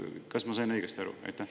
Kas ma sain õigesti aru?